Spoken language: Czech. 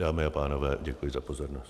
Dámy a pánové, děkuji za pozornost.